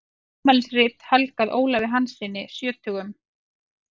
Afmælisrit helgað Ólafi Hanssyni sjötugum.